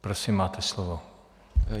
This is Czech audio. Prosím, máte slovo.